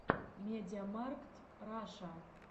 медиамаркт раша